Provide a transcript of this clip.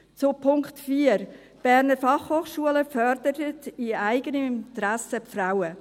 Zu Punkt 4: Die BFH fördert im eigenen Interesse die Frauen.